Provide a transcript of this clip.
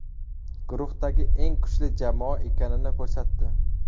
Guruhdagi eng kuchli jamoa ekanini ko‘rsatdi.